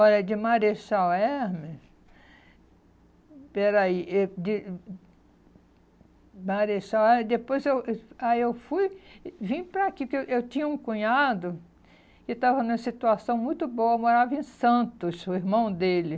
Ora, de Marechal Hermes... Peraí, eh de... Marechal Hermes, depois eu... Aí eu fui, e vim para aqui, porque eu eu tinha um cunhado que estava numa situação muito boa, morava em Santos, o irmão dele.